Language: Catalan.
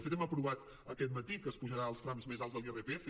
de fet hem aprovat aquest matí que s’apujarà els trams més alts de l’irpf